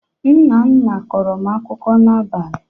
Nna nna kọrọ m akụkọ n'abalị.